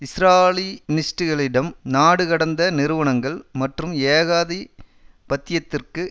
ஸ்ராலி னிஸ்ட்டுகளிடம் நாடு கடந்த நிறுவனங்கள் மற்றும் ஏகாதிபத்தியத்திற்கு